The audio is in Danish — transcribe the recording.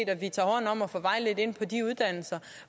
at man tager hånd om og får vejledt ind på de uddannelser